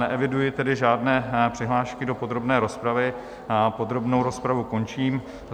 Neeviduji tedy žádné přihlášky do podrobné rozpravy, podrobnou rozpravu končím.